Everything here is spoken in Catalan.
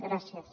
gràcies